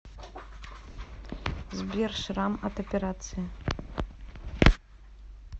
сбер шрам от операции